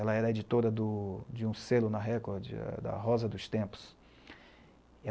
Ela era editora do, de um selo na Record, da Rosa dos Tempos.